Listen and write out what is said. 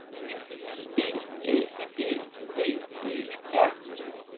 E L E V E R